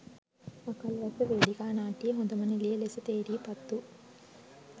අකල් වැස්ස වේදිකා නාට්‍යයේ හොඳම නිළිය ලෙස තේරී පත්වූ